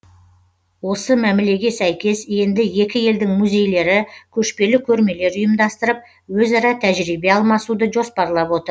осы мәмілеге сәйкес енді екі елдің музейлері көшпелі көрмелер ұйымдастырып өзара тәжірибе алмасуды жоспарлап отыр